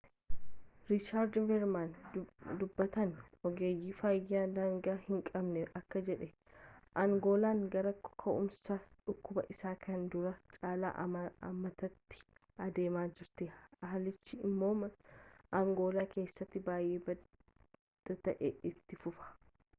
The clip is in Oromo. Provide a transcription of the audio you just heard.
riichaardi veermaan dubbataan ogeeyyii fayyaa daangaa hinqabnee akkana jedhe angoolaan gara ka'umsa dhukkubaa isa kanaan duraa caalaa ammaataatti adeemaa jirti haalichi immoo angoolaa keessatti baay'ee badaa ta'ee itti fufa